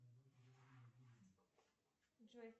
джой